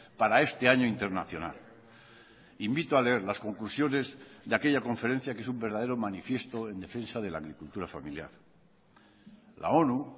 para este año internacional invito a leer las conclusiones de aquella conferencia que es un verdadero manifiesto en defensa de la agricultura familiar la onu